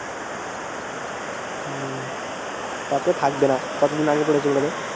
হুম তাতো থাকবে না কত দিন আগে করেছো বোলো তো